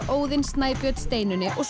Óðinn Snæbjörn Steinunni og